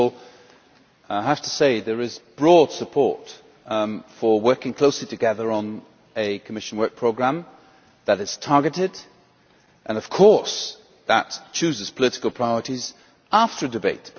First of all, I have to say that there is broad support for working closely together on a Commission Work Programme that is targeted and, of course, that chooses political priorities after a debate.